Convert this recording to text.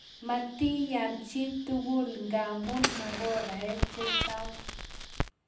Matiyan chituku ngamnu makorae che chang